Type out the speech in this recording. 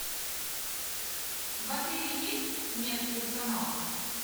в отеле есть мед персонал